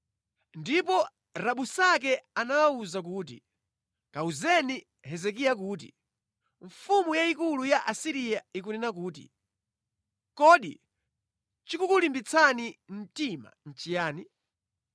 Ndipo Rabusake anawawuza kuti, “Kamuwuzeni Hezekiya kuti, “ ‘Mfumu yayikulu, mfumu ya ku Asiriya ikunena kuti, ‘Kodi chikukulimbitsa mtima ndi chiyani?’